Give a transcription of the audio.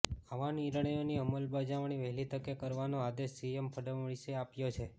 આવા નિર્ણયોની અમલબજાવણી વહેલી તકે કરવાનો આદેશ સીએમ ફડણવીસે આપ્યો છે